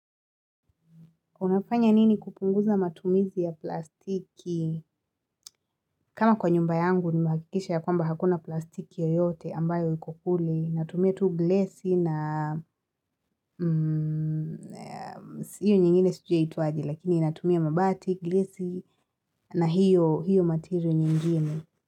Unafanya nini kupunguza matumizi ya plastiki? Kama kwa nyumba yangu nimehakikisha ya kwamba hakuna plastiki yoyote ambayo iko kule. Natumia tuu glesi na hiyo nyingine sijui yaitwaje lakini natumia mabati glesi na hiyo materio nyingine.